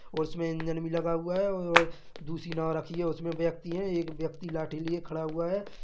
उसमे इंजन मे लगा हुआ हैं दुसरी नाव रखी है उसमे व्यक्ति हैं एक व्यक्ति लाठि लिये खडा हुआ है।